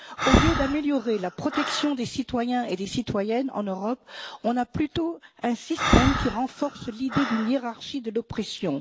Au lieu d'améliorer la protection des citoyens et des citoyennes en Europe, on a plutôt un système qui renforce l'idée d'une hiérarchie de l'oppression.